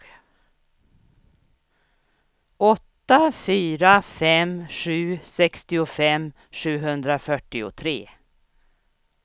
åtta fyra fem sju sextiofem sjuhundrafyrtiotre